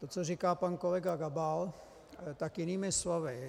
To, co říká pan kolega Gabal, tak jinými slovy.